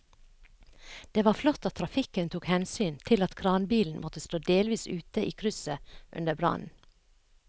Det var flott at trafikken tok hensyn til at kranbilen måtte stå delvis ute i krysset under brannen.